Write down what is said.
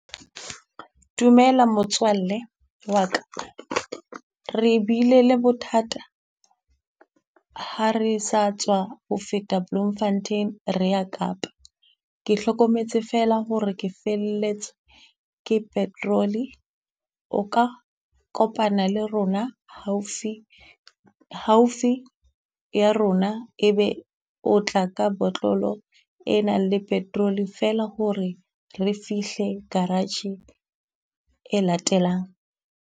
Dumela motswalle wa ka, re bile le bothata ha re sa tswa ho feta Bloemfontein, re ya Kapa. Ke hlokometse feela ho re ke felletswe ke petrol-e. O ka kopana le rona haufi haufi ya rona, e be o tla ka botlolo e nang le petrol-e ferla ho re re fihle garage e latelang.